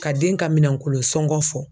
Ka den ka minankolo sɔngɔ fɔ